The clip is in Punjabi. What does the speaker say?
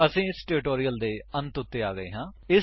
ਅਸੀ ਇਸ ਟਿਊਟੋਰਿਅਲ ਦੀ ਅੰਤ ਉੱਤੇ ਆ ਗਏ ਹਾਂ